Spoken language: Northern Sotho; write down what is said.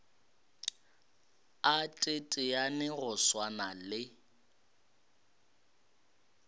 a teteane go swana le